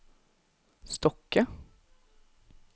Stokke